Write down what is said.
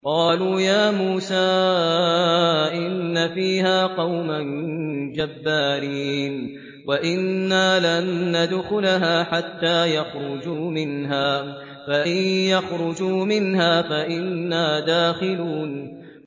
قَالُوا يَا مُوسَىٰ إِنَّ فِيهَا قَوْمًا جَبَّارِينَ وَإِنَّا لَن نَّدْخُلَهَا حَتَّىٰ يَخْرُجُوا مِنْهَا فَإِن يَخْرُجُوا مِنْهَا فَإِنَّا دَاخِلُونَ